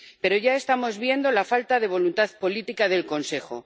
Pero ya estamos viendo la falta de voluntad política del Consejo.